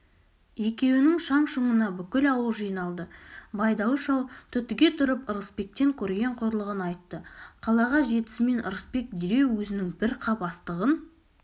екеуінің шаң-шұңына бүкіл ауыл жиналды байдалы шал түтіге тұрып ырысбектен көрген қорлығын айтты қалаға жетісімен ырысбек дереу өзінің бір қап астығын